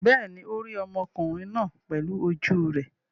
Bẹ́ẹ̀ ni, ó rí ọmọkùnrin náà pẹ̀lú ojú rẹ̀.